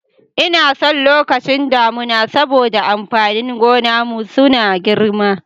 Inason lokacin damuna saboda amfanin gonan mu suna girma.